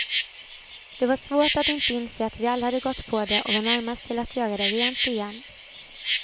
Det var svårt att inte inse att vi alla hade gått på det och var närmast till att göra det rent igen.